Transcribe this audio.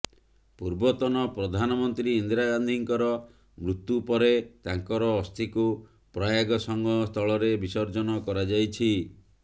ପୂର୍ବତନ ପ୍ରଧାନମନ୍ତ୍ରୀ ଇନ୍ଦିରା ଗାନ୍ଧୀଙ୍କର ମୃତ୍ୟୁ ପରେ ତାଙ୍କର ଅସ୍ଥିକୁ ପ୍ରୟାଗ ସଙ୍ଗମ ସ୍ଥଳରେ ବିସର୍ଜନ କରାଯାଇଛି